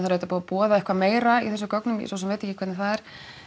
auðvitað búið að boða eitthvað meira í þessum gögnum ég svo sem veit ekki hvernig það er